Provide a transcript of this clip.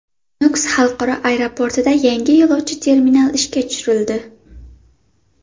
Nukus xalqaro aeroportida yangi yo‘lovchi terminal ishga tushirildi .